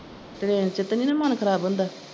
Train ਚ ਤੇ ਨੀ ਮੰਨ ਖਰਾਬ ਹੁੰਦਾ।